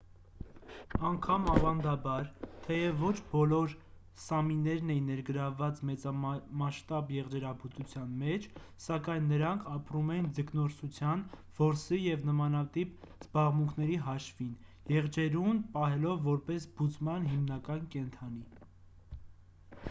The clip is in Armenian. անգամ ավանդաբար թեև ոչ բոլոր սամիներն էին ներգրավված մեծամասշտաբ եղջերաբուծության մեջ սակայն նրանք ապրում էին ձկնորսության որսի և նմանատիպ զբաղմունքների հաշվին եղջերուն պահելով որպես բուծման հիմնական կենդանի